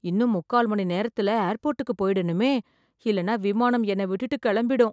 இன்னும் முக்கால் மணி நேரத்துல ஏர்போர்ட்டுக்குப் போயிடணுமே! இல்லன்னா விமானம் என்ன விட்டுட்டு கெளம்பிடும்.